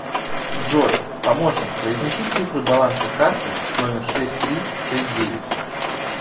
джой помощник произнеси цифры баланса карты номер шесть три шесть девять